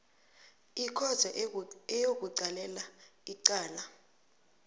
ikhotho eyokulalela icala